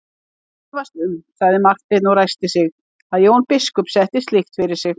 Ég efast um, sagði Marteinn og ræskti sig,-að Jón biskup setti slíkt fyrir sig.